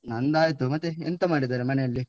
ನಂದಾಯ್ತು. ಮತ್ತೆ ಎಂತ ಮಾಡಿದಾರೆ ಮನೇಲಿ?